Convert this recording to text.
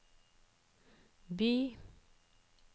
by